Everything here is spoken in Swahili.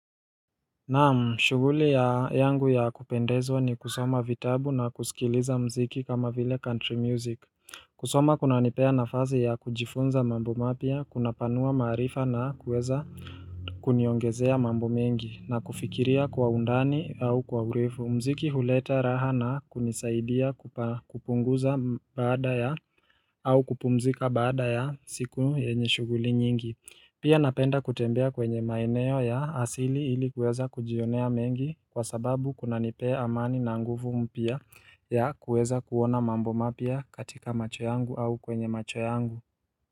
Naam, shughuli ya yangu ya kupendezwa ni kusoma vitabu na kusikiliza mziki kama vile country music kusoma kuna nipea nafazi ya kujifunza mambo mapya, kunapanua maarifa na kueza kuniongezea mambo mengi na kufikiria kwa undani au kwa urefu mziki huleta raha na kunisaidia kupunguza baada ya au kupumzika baada ya siku yenye shughuli nyingi Pia napenda kutembea kwenye maeneo ya asili ili kuweza kujionea mengi kwa sababu kunanipea amani na nguvu mpya ya kuweza kuona mambo mapya katika macho yangu au kwenye macho yangu.